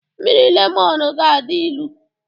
Mmiri Lemọn ga-adị ilu